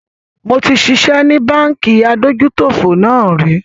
Mo ti ṣiṣẹ́ ni Báńkì adójútòfò náà rì